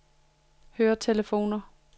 høretelefoner